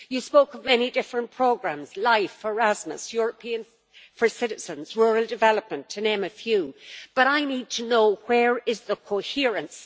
You spoke of many different programmes LIFE, Erasmus, European Citizens, rural development to name a few but I need to know where is the coherence?